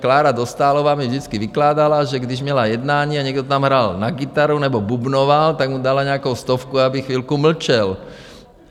Klára Dostálová mi vždycky vykládala, že když měla jednání a někdo tam hrál na kytaru nebo bubnoval, tak mu dala nějakou stovku, aby chvilku mlčel.